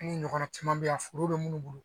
N'i ɲɔgɔnna caman bɛ yan foro bɛ minnu bolo